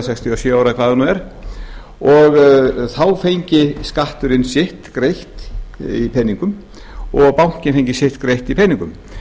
sextíu og sjö ára eða hvað það nú er og þá fengi skatturinn sitt greitt í peningum og bankinn sitt greitt í peningum